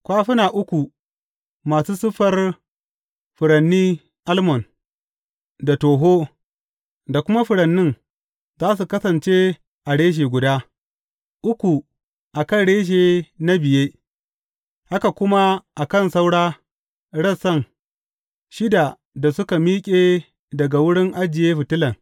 Kwafuna uku masu siffar furanni almon, da toho, da kuma furannin za su kasance a rashe guda, uku a kan rashe na biye, haka kuma a kan saura rassan shida da suka miƙe daga wurin ajiye fitilan.